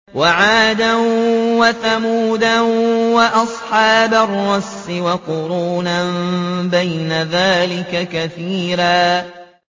وَعَادًا وَثَمُودَ وَأَصْحَابَ الرَّسِّ وَقُرُونًا بَيْنَ ذَٰلِكَ كَثِيرًا